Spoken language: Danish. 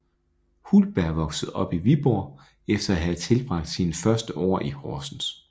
Hultberg voksede op i Viborg efter at have tilbragt sine første år i Horsens